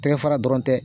Tɛgɛ fara dɔrɔn tɛ